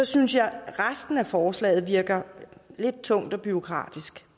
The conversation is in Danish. synes jeg at resten af forslaget virker lidt tungt og bureaukratisk